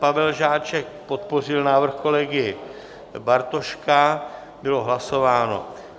Pavel Žáček podpořil návrh kolegy Bartoška, bylo hlasováno.